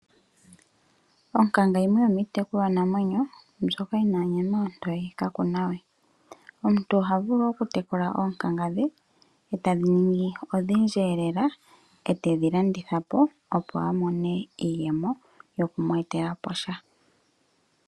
Onkanga yimiitekulwa namwenyo mbyoka yina onyama ontoye kaa kuna we. Omuntu oha vulu okutekula oonkanga dhe etadhi ningi odhindji elela etedhi landitha po, opo a mone iiyemo yokumwetela po sha.